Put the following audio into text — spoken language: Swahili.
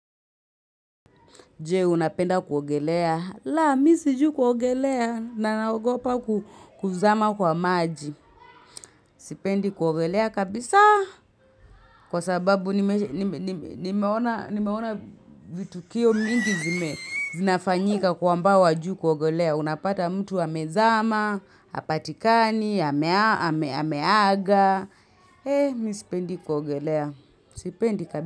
Je, unapenda kuogelea. La, misi jui kuogelea. Na naogopa kuzama kwa maji. Sipendi kuogelea kabisa. Kwa sababu nimeona vitu kio mingi zinafanyika kwa ambao hawajui kuogelea. Unapata mtu hamezama, hapatikani, hameaga. Eh, misipendi kuogelea. Sipendi kabisa.